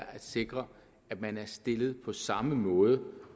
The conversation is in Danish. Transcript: at sikre at man er stillet på samme måde